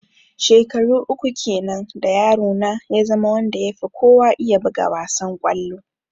Shekaru uku kenan da yaro na ya zama wanda ya fi kowa iya buga wassan kollo.